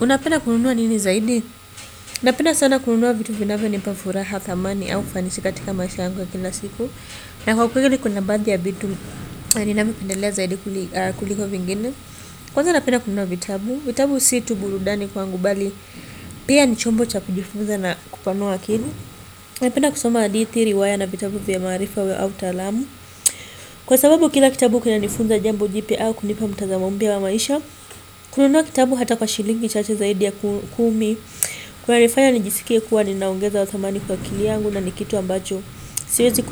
Unapenda kununua nini zaidi? Napenda sana kununua vitu vinavonipa furaha thamani au fanisi katika maisha yangu ya kila siku. Na kwa kweli kuna baadhi ya vitu, ninavopendelea zaidi kuliko vingine. Kwanza napenda kununua vitabu. Vitabu si tu burudani kwangu bali. Pia ni chombo cha kujifunza na kupanua akili. Napenda kusoma hadithi riwaya na vitabu vya maarifa au taalamu. Kwa sababu kila kitabu kina nifunza jambo jipya au kunipa mtazamo mpya wa maisha. Kununua kitabu hata kwa shilingi chache zaidi ya kumi. Kunanifaya nijisikie kuwa ninaongeza thamani kwa akili yangu na ni kitu ambacho siwezi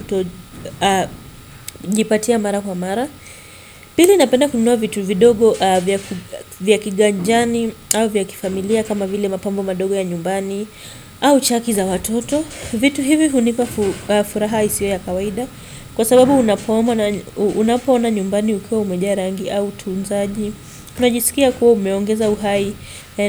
kutojipatia mara kwa mara. Pili napenda kununua vitu vidogo vya kiganjani au vya kifamilia kama vile mapambo madogo ya nyumbani au chaki za watoto. Vitu hivi hunipa furaha isiyo ya kawaida kwa sababu unapoona nyumbani ukiwa umejaa rangi au utunzaji. Unajisikia kuwa umeongeza uhai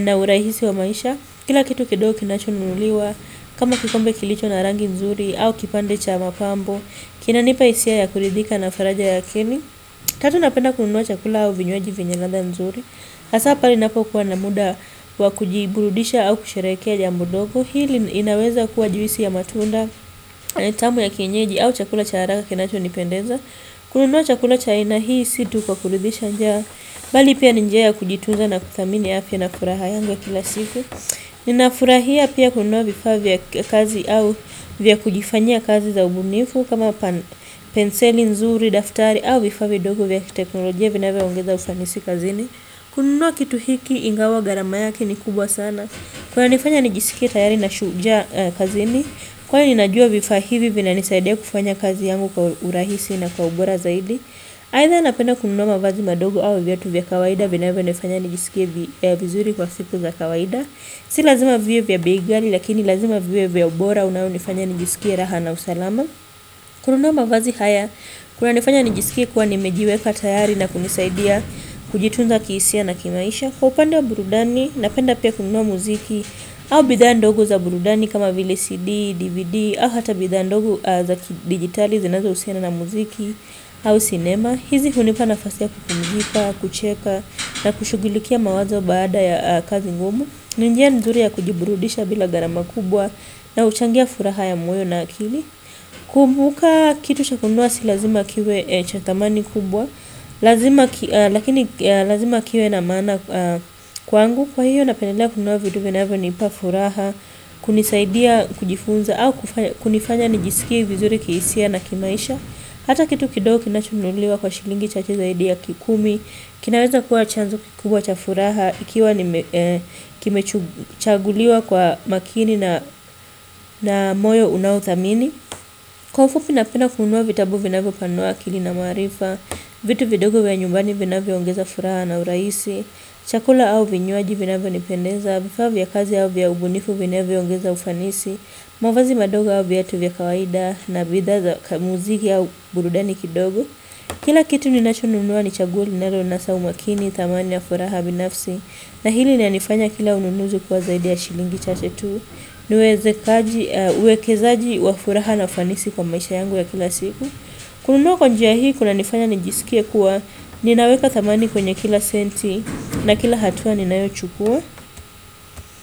na urahisi wa maisha. Kila kitu kidogo kinachonunuliwa. Kama kikombe kilicho na rangi nzuri au kipande cha mapambo. Kinanipa hisia ya kuridhika na faraja ya akili. Tatu napenda kununua chakula au vinywaji venye ladha nzuri. Hasa pale napokuwa na muda kwa kujiburudisha au kusherekea jambo dogo. Hili inaweza kuwa juisi ya matunda. Tamu ya kienyeji au chakula cha haraka kinachonipendeza. Kununua chakula cha aina hii situ kwa kuridhisha njaa bali pia ni njia kujituza na kuthamini afya na furaha yangu ya kila siku ninafurahia pia kununua vifaa vya kazi au vya kujifanyia kazi za ubunifu kama penseli nzuri, daftari au vifaa vidogo vya teknolojia vinavyoongeza ufanisi kazini kununua kitu hiki ingawa gharama yake ni kubwa sana kunanifanya nijisikie tayari ni shujaa kazini kwani najua vifaa hivi vinanisaidia kufanya kazi yangu kwa urahisi na kwa ubora zaidi. Aidha napenda kununua mavazi madogo au viatu vya kawaida vinavyonifanya nijisikie vizuri kwa siku za kawaida. Si lazima viwe vya bei ghali lakini lazima viwe vya ubora unaonifanya nijisikie raha na usalama. Kununua mavazi haya kunanifanya nijisikie kuwa nimejiweka tayari na kunisaidia kujitunza kihisia na kimaisha. Kwa upande wa burudani napenda pia kununua muziki au bidhaa ndogo za burudani kama vile CD, DVD au hata bidhaa ndogo za digitali zinazo husiana na muziki au cinema. Hizi hunipa nafasi ya kukumzika, kucheka na kushugilikia mawazo baada ya kazi ngumu. Ni njia nzuri ya kujiburudisha bila gharama kubwa na huchangia furaha ya moyo na akili. Kumbuka kitu cha kununua si lazima kiwe cha thamani kubwa lazima. Lakini lazima kiwe na mana kwangu. Kwangu kwa hiyo napendelea kununua vitu vinavyonipa furaha, kunisaidia kujifunza au kunifanya nijisikie vizuri kihisia na kimaisha. Hata kitu kidogo kinachonunuliwa kwa shilingi chache zaidi ya kikumi. Kinaweza kuwa chanzo kikubwa cha furaha ikiwa kimechaguliwa kwa makini na moyo unaothamini. Kwa ufupi napenda kununua vitabu vinavopanua akili na maarifa. Vitu vidogo vya nyumbani vinavyoongeza furaha na urahisi. Chakula au vinywaji vinavonipendeza vifaa vya kazi au vya ubunifu vinavyoongeza ufanisi mavazi madogo au viatu vya kawaida na bidhaa za kamuziki au burudani kidogo. Kila kitu ni nachonunua ni chaguo ninaloona sawa umakini. Thamani ya furaha binafsi na hili nalifanya kila ununuzi kuwa zaidi ya shilingi chate tu. Niwekezaji wa furaha na ufanisi kwa maisha yangu ya kila siku. Kununua kwa njia hii kunanifanya nijisikie kuwa ninaweka thamani kwenye kila senti na kila hatua ninayochukua.